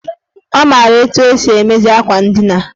Ọ maara etu esi emezi akwa ndina.